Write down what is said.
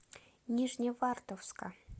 нижневартовска